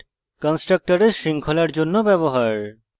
this keyword কন্সট্রকটরের শৃঙ্খলার জন্য ব্যবহার